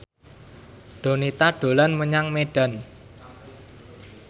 Donita dolan menyang Medan